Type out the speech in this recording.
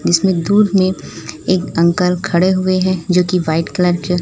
जिसमें दूर में एक अंकल खड़े हुए हैं जो कि व्हाइट कलर के--